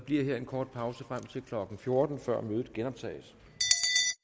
bliver her en kort pause frem til klokken fjorten hvor mødet genoptages